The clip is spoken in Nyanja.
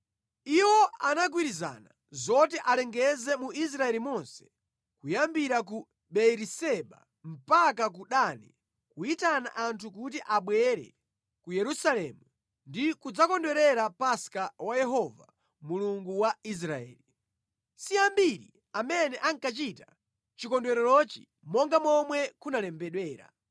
Iwo anagwirizana zoti alengeze mu Israeli monse kuyambira ku Beeriseba mpaka ku Dani, kuyitana anthu kuti abwere ku Yerusalemu ndi kudzakondwerera Paska wa Yehova, Mulungu wa Israeli. Si ambiri amene ankachita chikondwererochi monga momwe kunalembedwera.